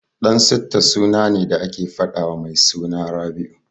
Dansitta suna ne da ake faɗawa mai suna Rabi'u.